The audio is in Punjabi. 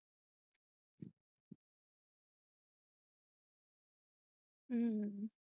ਅਹ